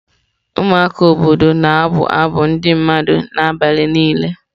Ụmụaka obodo na-abụ abụ ndị mmadụ n'abalị niile.